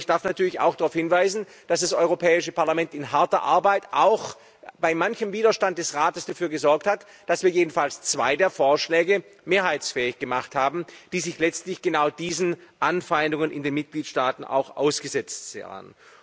Aber ich darf natürlich auch darauf hinweisen, dass das Europäische Parlament in harter Arbeit auch bei manchem Widerstand des Rates dafür gesorgt hat, dass wir jedenfalls zwei der Vorschläge mehrheitsfähig gemacht haben, die sich letztlich genau diesen Anfeindungen in den Mitgliedstaaten auch ausgesetzt sahen.